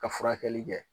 Ka furakɛli kɛ